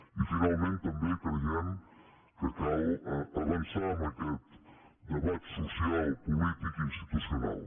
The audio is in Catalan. i finalment també creiem que cal avançar en aquest debat social polític i institucional